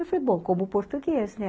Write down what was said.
Eu falo, bom, como português, né?